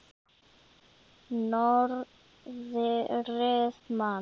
Norðrið man.